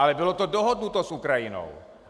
Ale bylo to dohodnuto s Ukrajinou.